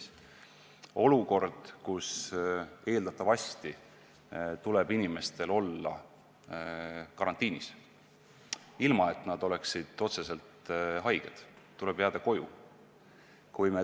See on olukord, kus eeldatavasti tuleb inimestel olla karantiinis ja jääda koju, ilma et nad oleksid otseselt haiged.